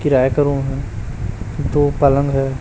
किराये का रूम है दो पलंग है।